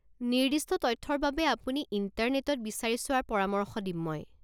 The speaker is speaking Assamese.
নিৰ্দিষ্ট তথ্যৰ বাবে আপুনি ইণ্টাৰনেটত বিচাৰি চোৱাৰ পৰামৰ্শ দিম মই।